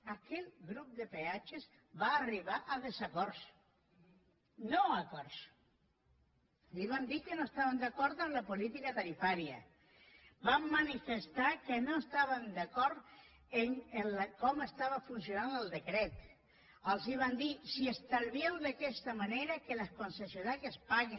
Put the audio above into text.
aquell grup de peatges va arribar a desacords no a acords li vam dir que no estàvem d’acord amb la política tarifària vam manifestar que no estàvem d’acord en com estava funcionant el decret els vam dir si estalvieu d’aquesta manera que les concessionàries paguin